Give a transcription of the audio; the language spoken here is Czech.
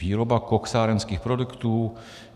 Výroba koksárenských produktů.